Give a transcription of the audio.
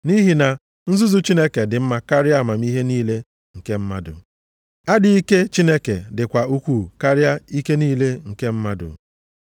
Nʼihi na nzuzu Chineke dị mma karịa amamihe niile nke mmadụ, adịghị ike Chineke dịkwa ukwuu karịa ike niile nke mmadụ.